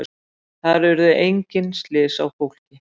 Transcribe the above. Þar urðu engin slys á fólki